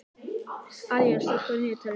Aríela, slökktu á niðurteljaranum.